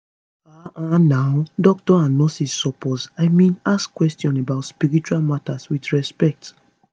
ah ah nau doctors and nurses suppose i mean ask questions about spiritual matter with respect